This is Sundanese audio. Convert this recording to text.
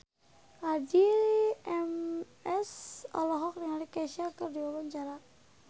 Addie MS olohok ningali Kesha keur diwawancara